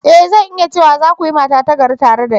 E! Zan iya cewa, za ku yi mata ta gari tare da ni.